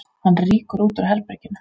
Hann rýkur út úr herberginu.